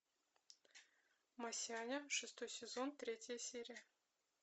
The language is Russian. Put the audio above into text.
масяня шестой сезон третья серия